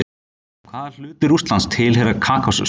Hvaða hluti Rússlands tilheyrir Kákasus?